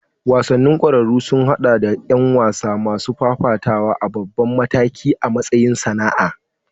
Wasannin ƙwararru sun haɗa da ƴan wasa masu fafatawa a babban mataki a matsayin sana'a.